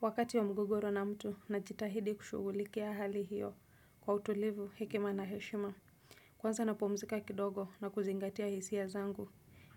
Wakati wa mgogoro na mtu najitahidi kushughulikia hali hiyo kwa utulivu hekima na heshima. Kwanza napumzika kidogo na kuzingatia hisia zangu